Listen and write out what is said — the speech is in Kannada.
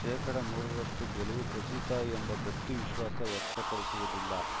ಶೇಕಡಾ ನೂರರಷ್ಟುಗೆಲುವು ಖಚಿತ ಎಂಬ ಗಟ್ಟಿವಿಶ್ವಾಸ ವ್ಯಕ್ತಪಡಿಸುವುದಿಲ್ಲ